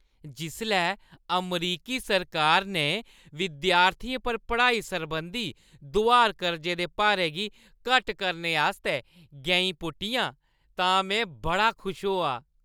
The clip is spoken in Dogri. जिसलै अमरीकी सरकार ने विद्यार्थियें पर पढ़ाई सरबंधी दुहार-कर्जे दे भारै गी घट्ट करने आस्तै गैईं पुट्टियां तां में बड़ा खुश होआ।